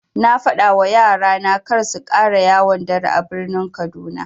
Na fadawa yara na karsu ƙara yawon dare a birnin kaduna.